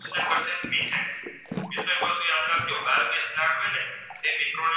તે મિત્રોને